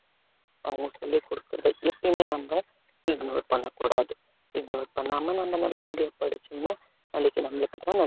அவங்க சொல்லிக் கொடுக்கிறது எப்பயுமே நம்ம ignore பண்ணக் கூடாது ignore பண்ணாம நம்ம நல்லபடியா படிச்சோம்ன்னா நாளைக்கு நம்மளுக்குத்தான்